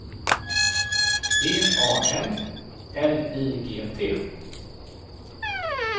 V A N L I G T